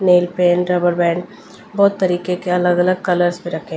nail paint rubber band बहोत तरीके के अलग-अलग कलर्स भी रखें--